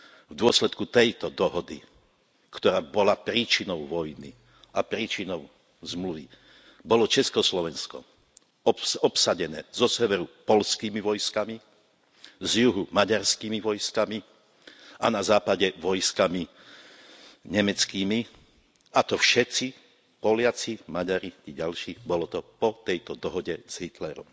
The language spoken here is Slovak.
V dôsledku tejto dohody, ktorá bola príčinou vojny a príčinou zmluvy, bolo Československo obsadené zo severu poľskými vojskami, z juhu maďarskými vojskami a na západe vojskami nemeckými, a to všetci, Poliaci, Maďari i ďalší, bolo to po tejto dohode s Hitlerom.